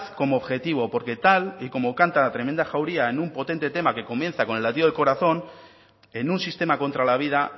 como objetivo porque tal y como canta la tremenda jauría en un potente tema que comienza con el latido del corazón en un sistema contra la vida